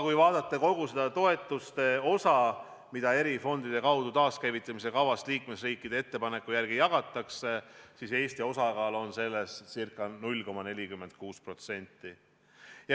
Kui vaadata kogu seda toetuste osa, mida eri fondide kaudu taaskäivitamise kava raames liikmesriikide ettepanekute järgi jagatakse, siis Eesti osakaal on ca 0,46%.